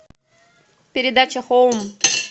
передача хоум